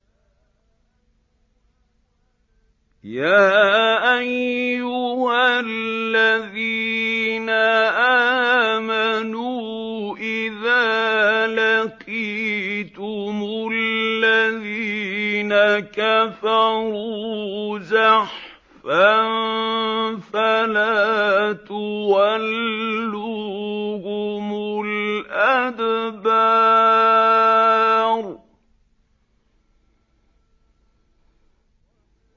يَا أَيُّهَا الَّذِينَ آمَنُوا إِذَا لَقِيتُمُ الَّذِينَ كَفَرُوا زَحْفًا فَلَا تُوَلُّوهُمُ الْأَدْبَارَ